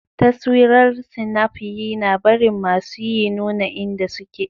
Taswirar Snap yina barin masuyi nuna inda suke.